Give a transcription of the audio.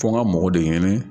Fo n ka mɔgɔ de ɲini